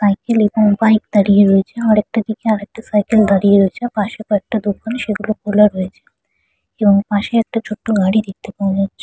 Cycle এবং bike দাঁড়িয়ে রয়েছে আরেকটা দিকে আরেকটা সাইকেল দাঁড়িয়ে রয়েছে। পাশে কয়েকটা দোকান সেগুলো খোলা রয়েছে পাশে একটা ছোট্ট গাড়ি দেখতে পাওয়া যাচ্ছে।